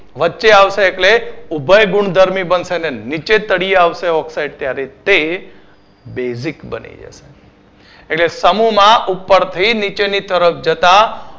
વચ્ચે આવતા એટલે ઉભય ગુણધર્મી બનશે ને નીચે તડીયા આવશે oxide ત્યારે તે એટલે સમૂહ માં ઉપર થી નીચેની તરફ જતાં